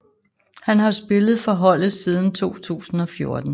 Han har spillet for holdet siden 2014